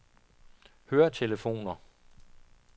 høretelefoner